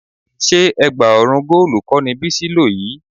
Ṣé ẹ̀gbá ọrùn góòlù kọ́ ni Bísí lò yìí?